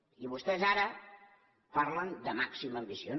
i vostès ara parlen de màxima ambició